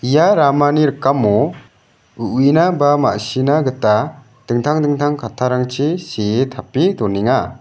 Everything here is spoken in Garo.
ia ramani rikamo uina ba ma·sina gita dingtang dingtang kattarangchi see tape donenga.